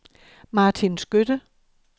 Martin Skytte